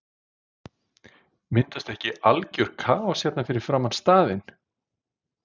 Myndast ekki algjör kaos hérna fyrir framan staðinn?